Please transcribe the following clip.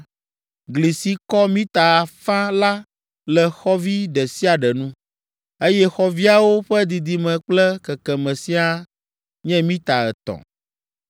Gli si kɔ mita afã la le xɔvi ɖe sia ɖe nu, eye xɔviawo ƒe didime kple kekeme siaa nye mita etɔ̃.